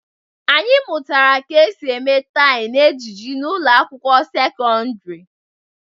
Anyị mụtara ka esi eme tye na ejiji n'ụlọ akwụkwọ sekọndrị